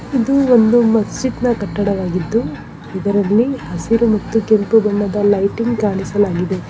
ಇದು ಒಂದು ಮಸೀದ್ನ ಕಟ್ಟಡವಾಗಿದ್ದು ಇದರಲ್ಲಿ ಹಸಿರು ಮತ್ತು ಕೆಂಪು ಬಣ್ಣದ ಲೈಟಿಂಗ್ ಕಾಣಿಸಲಾಗಿದೆ.